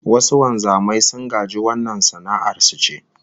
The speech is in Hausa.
Wasu wanzaman sun gaji wannan sana'ar su ce